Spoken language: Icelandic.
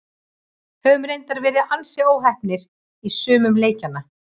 Höfum reyndar verið ansi óheppnir í sumum leikjanna.